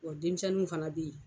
Wɔ denmisɛnninw fana bɛ yen